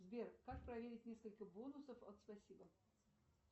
сбер как проверить несколько бонусов от спасибо